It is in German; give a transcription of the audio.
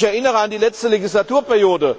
Wenn ich mich an die letzte Legislaturperiode erinnere,